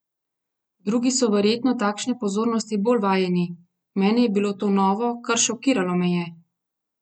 Drugi so verjetno takšne pozornosti bolj vajeni, meni je bilo to novo, kar šokiralo me je!